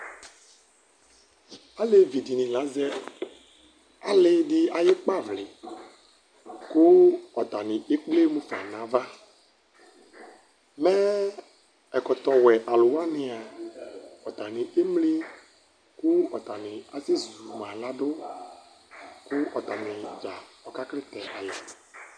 Alevi dini la azɛ alidi ayʋ ikpavli, kʋ ɔtani ekple mʋfa nʋ ava Mɛ ɛkɔtɔwɛ alʋwani a ɔtani emli kʋ ɔtani asɛzuma ladʋ, kʋ ɔtani dza ɔka klitɛ yi